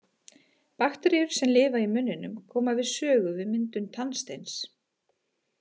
Bakteríur sem lifa í munninum koma við sögu við myndum tannsteins.